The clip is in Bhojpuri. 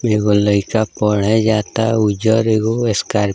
एगो लइका पढ़े जाता उजर एगो स्कार्प --